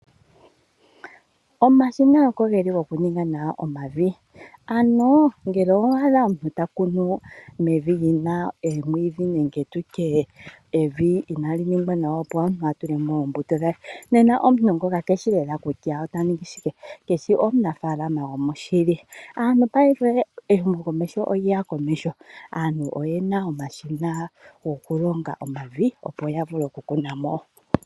Omashina okogeli gokuninga nawa omavi. Ano ngele owa adha omuntu ta kunu mevi li na omwiidhi nenge tu tye evi inaali ningwa nawa opo omuntu a tule mo oombuto dhe. Nena omuntu ngoka ke shi lela kutya ota ningi shike, keshi omunafaalama gomoshili. Payife ehumokomeho olya ya komeho, aantu oye na omashina gokulonga omavi, opo ya vule okukuna mo.